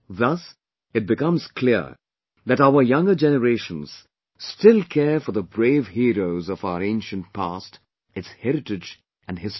Thus, it becomes clear that our younger generations still care for the brave heroes of our ancient past, its heritage and history